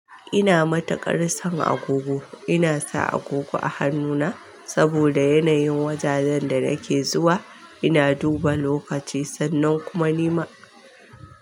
Ina matuƙar son agogo. Ina sa agogo a hannuna saboda yanayin wajajen da nake zuwa. Ina duba lokaci sannan kuma nima.